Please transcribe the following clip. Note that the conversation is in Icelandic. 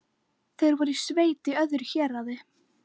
Þeir voru í sveit í öðru héraði.